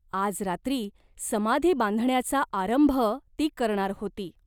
आज रात्री समाधी बांधण्याचा आरंभ ती करणार होती.